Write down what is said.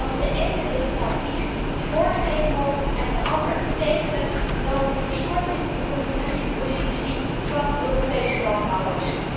Als de ene lidstaat kiest vóór GMO en de ander tegen, dan verstoort dit de concurrentiepositie van Europese landbouwers.